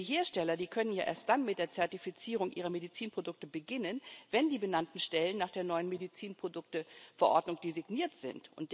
Denn die Hersteller können ja erst dann mit der Zertifizierung ihrer Medizinprodukte beginnen, wenn die benannten Stellen nach der neuen Medizinprodukteverordnung designiert sind.